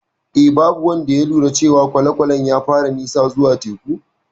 Eh, babu wanda ya lura cewa kwale-kwalen ya fara nisa zuwa teku.